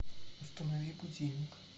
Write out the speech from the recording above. установи будильник